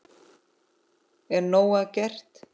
Er nóg að gert?